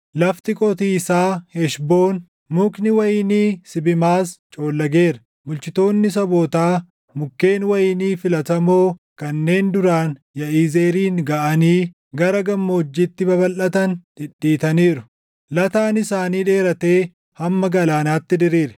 Lafti qotiisaa Heshboon, mukni wayinii Sibimaas coollageera. Bulchitoonni sabootaa mukkeen wayinii filatamoo kanneen duraan Yaʼizeerin gaʼanii gara gammoojjiitti babalʼatan dhidhiitaniiru. Lataan isaanii dheeratee hamma galaanaatti diriire.